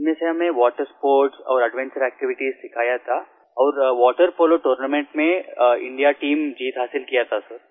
इनमें से हमें वाटर स्पोर्ट्स और एडवेंचर activitiesसिखाया था और वाटर पोलो टूर्नामेंट में इंडिया टीम जीत हासिल किया था सिर